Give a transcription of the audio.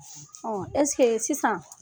Ɔ ɛsike sisan